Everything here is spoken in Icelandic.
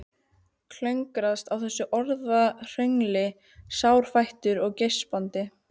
Klöngrast í þessu orðahröngli sárfættur og geispandi.